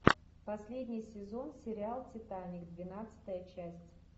последний сезон сериал титаник двенадцатая часть